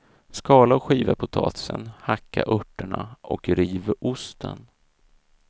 Skala och skiva potatisen, hacka örterna och riv osten.